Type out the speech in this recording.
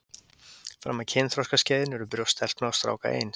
Fram að kynþroskaskeiðinu eru brjóst stelpna og stráka eins.